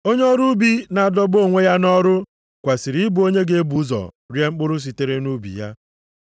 Onye ọrụ ubi na-adọgbu onwe ya nʼọrụ kwesiri ịbụ onye ga-ebu ụzọ rie mkpụrụ sitere nʼubi ya.